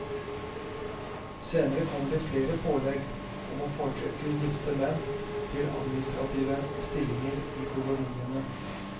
Senere kommer det flere pålegg om å foretrekke gifte menn til administrative stillinger i koloniene.